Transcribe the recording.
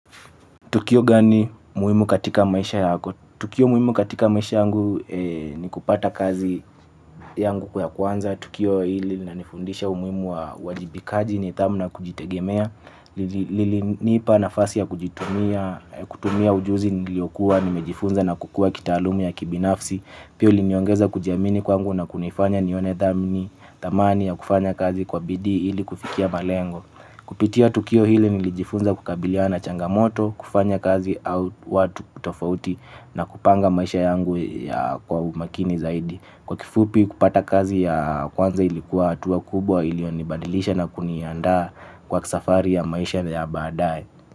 Tukio gani muhimu katika maisha yako? Tukio muhimu katika maisha yangu ni kupata kazi yangu ya kwanza. Tukio hili lina nifundisha umuhimu wa uwajibikaji ni thamu na kujitegemea. Nipa nafasi ya kutumia ujuzi niliokua, nimejifunza na kukua kitaalumu ya kibinafsi. Pia uliniongeza kujiamini kwangu na kunifanya nione thamani ya kufanya kazi kwa bidii ili kufikia malengo. Kupitia tukio hili nilijifunza kukabilia na changamoto, kufanya kazi au watu kutofauti na kupanga maisha yangu ya kwa umakini zaidi. Kwa kifupi kupata kazi ya kwanza ilikuwa atuwa kubwa ilionibadilisha na kunianda kwa kisafari ya maisha ya baadae.